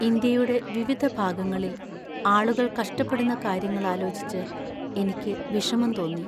ഇന്ത്യയുടെ വിവിധ ഭാഗങ്ങളിൽ ആളുകൾ കഷ്ടപ്പെടുന്ന കാര്യങ്ങൾ ആലോചിച്ച് എന്നതിൽ എനിക്ക് വിഷമം തോന്നി.